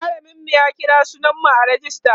mallamin mu ya kira sunan mu a rejista